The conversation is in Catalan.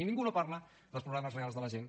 i ningú no parla dels problemes reals de la gent